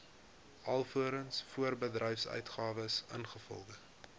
alvorens voorbedryfsuitgawes ingevolge